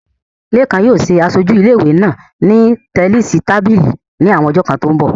Lékan yóò ṣe aṣojú ilé ìwé náà ní tẹníìsì tábìlì ní àwọn ọjọ́ kan tó ń bọ̀